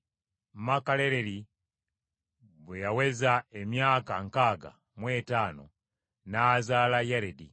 Makalaleri bwe yaweza emyaka nkaaga mu etaano n’azaala Yaredi.